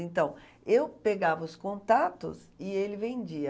Então, eu pegava os contatos e ele vendia.